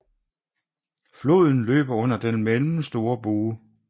Floden løber under den mellemstore bue